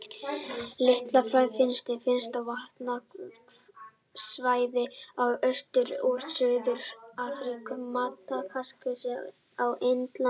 Litli flæmingi finnst á vatnasvæðum í austur- og suðurhluta Afríku, Madagaskar og á Indlandi.